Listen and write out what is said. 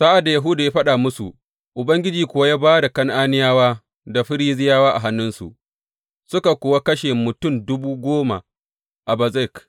Sa’ad da Yahuda ya fāɗa musu, Ubangiji kuwa ya ba da Kan’aniyawa da Ferizziyawa a hannunsu, suka kuwa kashe mutum dubu goma a Bezek.